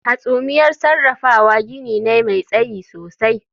Hasumiyar sarrafawa gini ne mai tsayi sosai